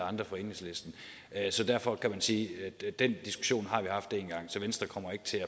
andre for enhedslisten så derfor kan man sige at den diskussion har vi haft én gang så venstre kommer ikke til